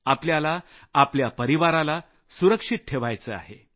आपल्याला आपल्या परिवाराला सुरक्षित ठेवायचं आहे